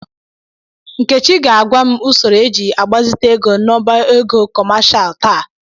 Nkechi ga-agwa m usoro eji agbazite ego noba ego kọmashal taa.